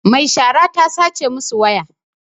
Mai shara ta sace masu waya